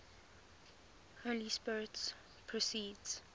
holy spirit proceeds